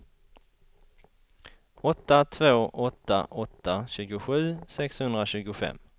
åtta två åtta åtta tjugosju sexhundratjugofem